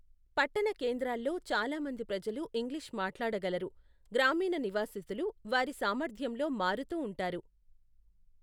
పట్టణ కేంద్రాల్లో, చాలా మంది ప్రజలు ఇంగ్లీష్ మాట్లాడగలరు, గ్రామీణ నివాసితులు వారి సామర్థ్యంలో మారుతూ ఉంటారు.